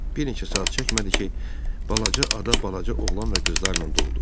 Bir neçə saat çəkmədi ki, balaca ada balaca oğlan və qızlarla doldu.